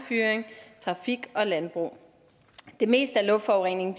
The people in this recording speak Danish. trafik og landbrug det meste af luftforureningen